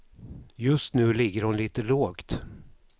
Just nu ligger hon lite lågt.